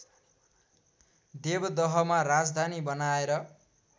देवदहमा राजधानी बनाएर